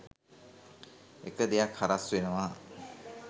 එක දෙයක් හරස් වෙනවා.